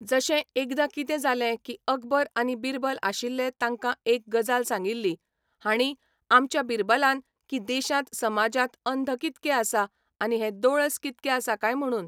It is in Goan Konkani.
जशें एकदां कितें जालें की अकबर आनी बिरबल आशिल्ले ताकां एक गजाल सांगिल्ली हांणी आमच्या बिरबलान की देशांत समाजांत अंध कितके आसा आनी हे दोळस कितके आसा कांय म्हणून